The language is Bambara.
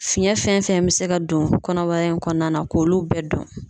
Fiɲɛ fɛn fɛn be se ka don kɔnɔbara in kɔnɔna na k'olu bɛɛ dɔn.